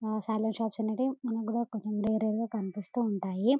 ఆ salon shops అనేటివి మనక్ కూడా వేరేగా కనిపిస్తూ ఉంటాయి.